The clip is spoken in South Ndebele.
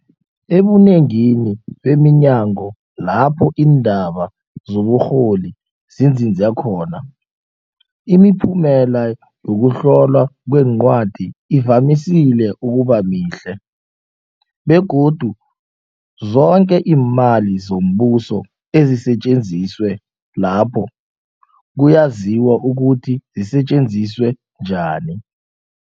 Ebunengini beminyango lapho iindaba zoburholi zinzinze khona, imiphumela yokuhlolwa kweencwadi ivamise ukubamihle, begodu zoke iimali zombuso ezisetjenziswe lapho kuyaziwa ukuthi zisetjenziswe njani.